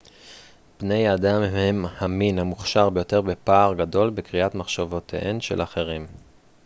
בני אדם הם המין המוכשר ביותר בפער גדול בקריאת מחשבותיהם של אחרים